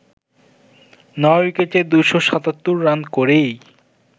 নয় উইকেটে ২৭৭ রান করেই